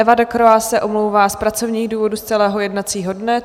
Eva Decroix se omlouvá z pracovních důvodů z celého jednacího dne.